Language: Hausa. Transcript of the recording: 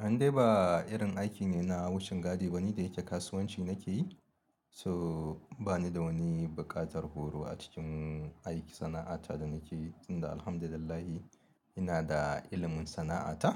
In dai ba irin aiki ne na wucin gadi ba, ni da yake kasuwanci na ke yi. So ba ni da wani bukatar horo a cikin aiki sana'ata da na ke yi, tunda Alhamdulillah ina da ilimin sana'ata